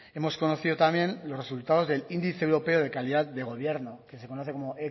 hemos conocido también los resultados de índice europeo de calidad de gobierno que se conoce como